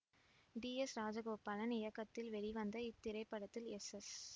D S Rajagopalan இயக்கத்தில் வெளிவந்த இத்திரைப்படத்தில் எஸ் எஸ்